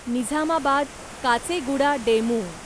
Nizamabad Kacheguda DEMU